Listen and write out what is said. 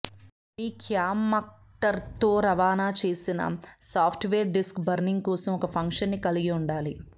మీ క్యామ్కార్డర్తో రవాణా చేసిన సాఫ్ట్వేర్ డిస్క్ బర్నింగ్ కోసం ఒక ఫంక్షన్ని కలిగి ఉండాలి